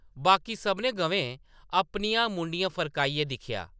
बाकी सभनें गवें अपनियां मुंडियां फरकाइयै दिक्खेआ ।